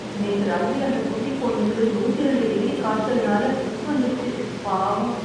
நேத்து ராத்திரி அந்த குட்டிப் பொண்ணுக்கு நூத்தி ரெண்டு டிகிரி காய்ச்சல்னால ஃபிக்ஸ் வந்துருச்சு... பாவம்.